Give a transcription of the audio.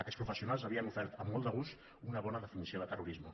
aquests professionals haurien ofert amb molt de gust una bona definició de terrorisme